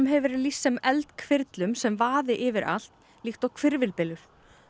hefur verið lýst sem sem vaði yfir allt líkt og hvirfilbylur